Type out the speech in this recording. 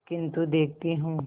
किन्तु देखती हूँ